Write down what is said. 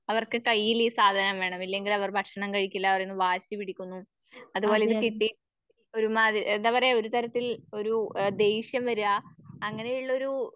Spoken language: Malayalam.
അവർക്ക് കയ്യിലീ സാധനം വേണം. ഇല്ലെങ്കിൽ അവർ ഭക്ഷണം കഴിക്കില്ല അവർ വാശി പിടിക്കുന്നു. അതുപോലെ ഇത് കിട്ടി എന്താപറയ ഒരുതരത്തിൽ ഒരൂ അ ദേഷ്യം വരുക അങ്ങനെയുള്ളരൂ